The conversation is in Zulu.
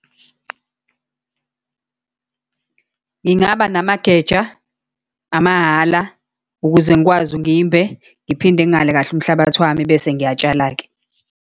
Ngingaba namageja, amahala, ukuze ngikwazi ngimbe, ngiphinde ngihale kahle umhlabathi wami, bese ngiyatshala-ke.